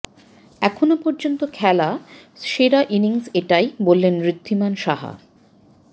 এখনও পর্যন্ত খেলা সেরা ইনিংস এটাই বললেন ঋদ্ধিমান সাহা